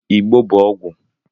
Ịgbó bụ ọgwụ